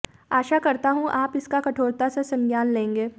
आशा करता हूं आप इसका कठोरता से संज्ञान लेंगे